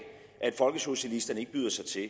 at folkesocialisterne ikke byder sig til